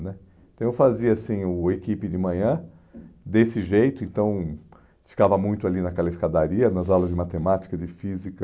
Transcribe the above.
né Então eu fazia assim, o Equipe de Manhã, desse jeito, então ficava muito ali naquela escadaria, nas aulas de matemática, de física,